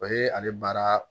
O ye ale baara